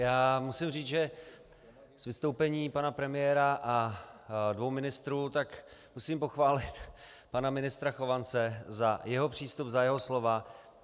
Já musím říct, že z vystoupení pana premiéra a dvou ministrů - tak musím pochválit pana ministra Chovance za jeho přístup, za jeho slova.